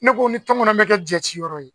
Ne ko ni tɔnkɔnɔ bɛ kɛ jɛciyɔrɔ ye